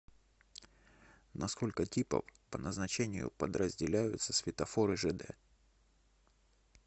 на сколько типов по назначению подразделяются светофоры жд